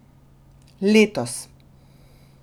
Letos!